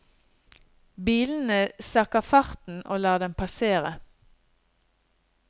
Bilene sakker farten og lar dem passere.